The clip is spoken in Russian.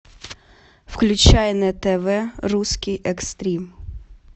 включай на тв русский экстрим